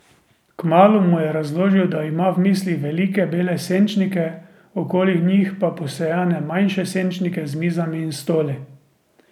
Kmalu mu je razložil, da ima v mislih velike bele senčnike, okoli njih pa posejane manjše senčnike z mizami in stoli.